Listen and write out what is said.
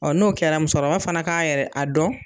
n'o kɛra musokɔrɔba fana k'a yɛrɛ a dɔn